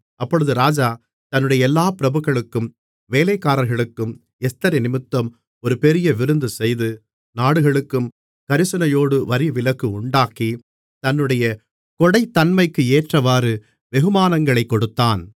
அப்பொழுது ராஜா தன்னுடைய எல்லாப் பிரபுக்களுக்கும் வேலைக்காரர்களுக்கும் எஸ்தரினிமித்தம் ஒரு பெரிய விருந்துசெய்து நாடுகளுக்கும் கரிசனையோடு வரிவிலக்கு உண்டாக்கி தன்னுடைய கொடைத்தன்மைக்கு ஏற்றவாறு வெகுமானங்களைக் கொடுத்தான்